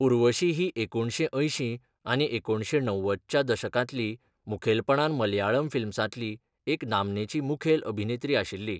उर्वशी ही एकुणशें अंयशीं आनी एकुणशें णव्वदच्या दशकांतली मुखेलपणान मलयाळम फिल्म्सांतली एक नामनेची मुखेल अभिनेत्री आशिल्ली.